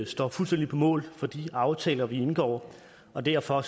står fuldstændig på mål for de aftaler vi indgår derfor